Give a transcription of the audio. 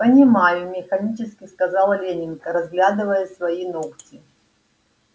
понимаю механически сказала лэннинг разглядывая свои ногти